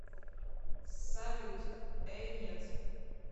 салют э нет